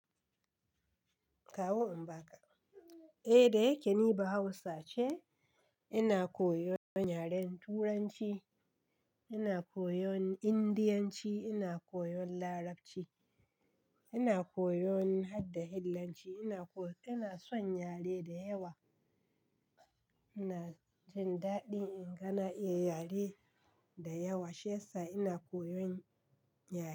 Kawo in ba ka. Eh, da yake ni bahausa ce, ina koyon yaren turanci, ina koyon indiyanci, ina koyon larabci, ina koyon harda, ina koyon hillanci, ina so yare da yawa. Ina jin daɗi inga na iya yare da yawa, shi ya sa ina koyon yare.